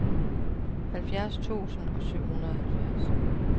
halvfjerds tusind og syvoghalvfjerds